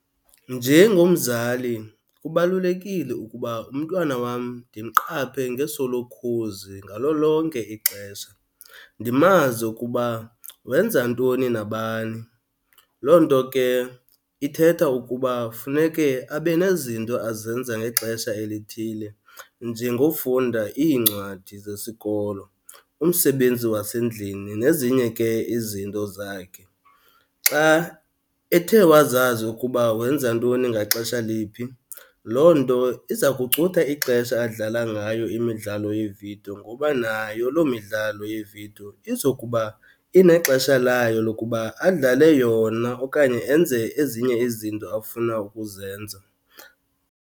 Njengomzali kubalulekile ukuba umntwana wam ndimqaphe ngeso lokhozi ngalo lonke ixesha, ndimazi ukuba wenza ntoni nabani. Loo nto ke ithetha ukuba funeke abe nezinto azenza ngexesha elithile, njengofunda iincwadi zesikolo, umsebenzi wasendlini nezinye ke izinto zakhe. Xa ethe wazazi ukuba wenza ntoni ngaxesha liphi loo nto iza kucutha ixesha adlala ngayo imidlalo yeevidiyo, ngoba nayo loo midlalo yevidiyo izokuba inexesha layo lokuba adlale yona okanye enze ezinye izinto afuna ukuzenza.